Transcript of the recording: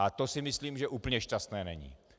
A to si myslím, že úplně šťastné není.